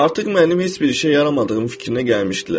Artıq mənim heç bir işə yaramadığım fikrinə gəlmişdilər.